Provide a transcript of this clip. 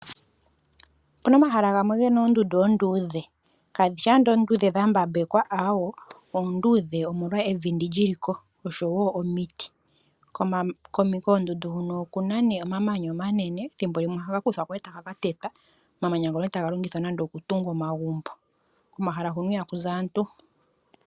Opuna omahala gamwe gena oondundu onduudhe, kadhishi andola oonduudhe dhambapekwa aawo. Oondudhe omolwa evi ndi li liko oshowo omiti. Koondundu huno okuna nee omamanya omanene, thimbolimwe ohaga kuthwa ko etaga katetwa. Omamanya ngono etaga longithwa nande okutunga omagumbo, komahala huno ihaku zi aantu.